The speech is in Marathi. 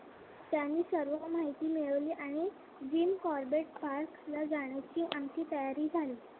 त्यांनी सर्व माहिती मिळवली आणि the corbate park जायची आमची तयारी झाली.